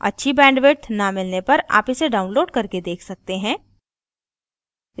अच्छी bandwidth न मिलने पर आप इसे download करके देख सकते हैं